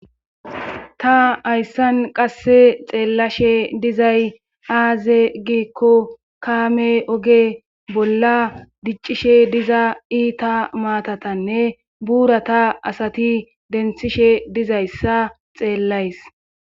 ta hayssan qasse xeellashe dizay aaze giikko kaame oge bolla diccishe diza iita maatatanne buura ta asati denthishe dizayssa xeellays